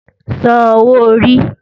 San owó orí!